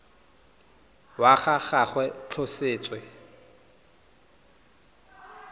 wa ga gagwe go tlhotswe